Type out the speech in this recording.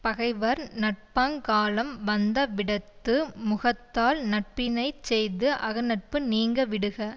பகைவர் நட்பாங்காலம் வந்தவிடத்து முகத்தால் நட்பினைச் செய்து அகநட்பு நீங்கவிடுக